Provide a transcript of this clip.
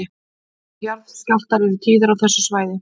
Jarðskjálftar eru tíðir á þessu svæði